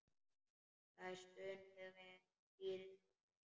Það er stunið við stýrið.